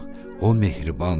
O mehribandır.